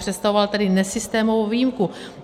Představoval tedy nesystémovou výjimku.